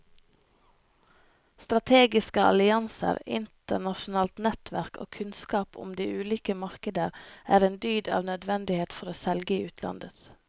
Strategiske allianser, internasjonalt nettverk og kunnskap om de ulike markeder er en dyd av nødvendighet for å selge i utlandet.